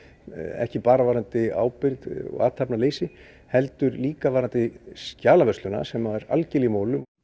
ekki bara varðandi ábyrgð og athafnaleysi heldur líka varðandi skjalavörsluna sem er algerlega í molum